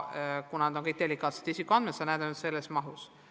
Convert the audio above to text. Kuna need on kõik delikaatsed isikuandmed, siis neid nähakse ainult teatud mahus.